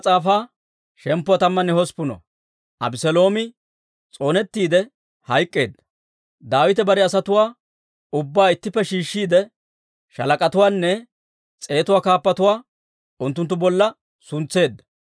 Daawite bare asatuwaa ubbaa ittippe shiishshiide shaalak'atuwaanne s'eetuwaa kaappatuwaa unttunttu bolla suntseedda.